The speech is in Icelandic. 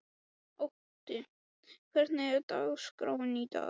Otti, hvernig er dagskráin í dag?